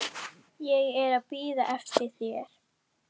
Ég er að bíða eftir þér.